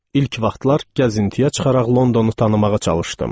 İlk vaxtlar gəzintiyə çıxaraq Londonu tanımağa çalışdım.